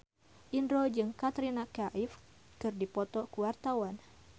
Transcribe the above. Indro jeung Katrina Kaif keur dipoto ku wartawan